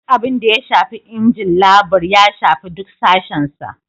Duk abin da ya shafi injin labur, ya shafi duk sashen sa.